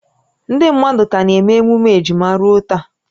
Ndị mmadụ ka na-eme emume ejima ruo taa